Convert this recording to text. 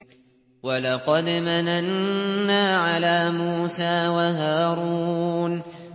وَلَقَدْ مَنَنَّا عَلَىٰ مُوسَىٰ وَهَارُونَ